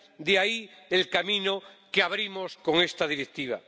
De ahí el camino que abrimos con esta Directiva.